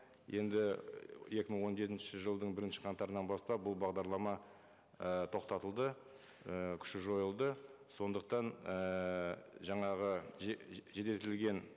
енді екі мың он жетінші жылдың бірінші қаңтарынан бастап бұл бағдарлама і тоқтатылды і күші жойылды сондықтан ііі жаңағы жеделтілген